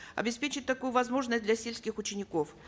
обеспечить такую возможность для сельских учеников